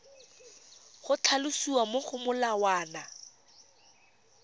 go tlhalosiwa mo go molawana